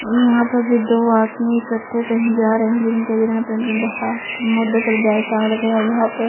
यहाँ पर फिर दो आदमी इक्कठे कही जा रहे हैं लेकिन कई जगह पे इनके बहाँ मुंढों पर बैग टाँग रखे हैं और यहाँ पर--